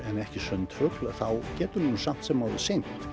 en ekki sundfugl þá getur hann samt sem áður synt